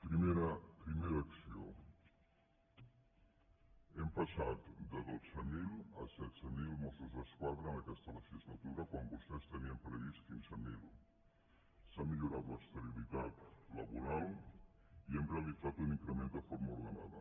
primera acció hem passat de dotze mil a setze mil mos·sos d’esquadra en aquesta legislatura quan vostès en tenien previstos quinze mil s’ha millorat l’estabilitat laboral i hem realitzat un increment de forma ordenada